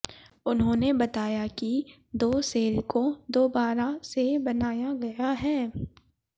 उन्होंने बताया कि दो सेल को दोबारा से बनाया गया है